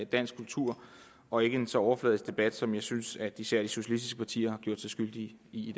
dansk kultur og ikke en så overfladisk debat som jeg synes at især de socialistiske partier har gjort sig skyldige i